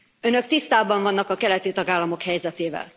Önök tisztában vannak a keleti tagállamok helyzetével.